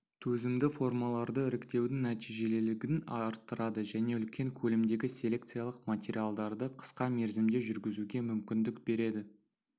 төзімді формаларды іріктеудің нәтижелілігін арттырады және үлкен көлемдегі селекциялық материалдарды қысқа мерзімде жүргізуге мүмкіндік береді